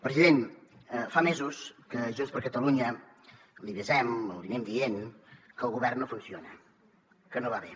president fa mesos que junts per catalunya l’avisem li anem dient que el govern no funciona que no va bé